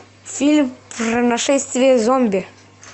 фильм про нашествие зомби